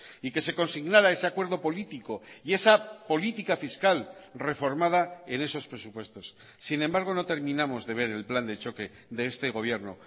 y que se consignara ese acuerdo político y esa política fiscal reformada en esos presupuestos sin embargo no terminamos de ver el plan de choque de este gobierno